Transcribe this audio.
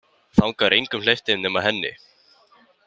Þangað er engum hleypt inn nema henni.